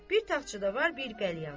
Bir taxçada var bir qəlyan.